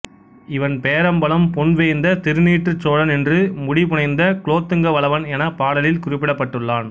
இவன் பேரம்பலம் பொன்வேய்ந்த திருநீற்றுச் சோழன் என்று முடிபுனைந்த குலோத்துங்க வளவன் எனப் பாடலில் குறிப்பிடப்பட்டுள்ளான்